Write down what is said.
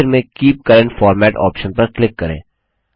आखिर में keep current format option पर क्लिक करें